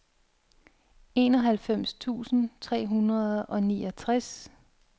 enoghalvfems tusind tre hundrede og niogtres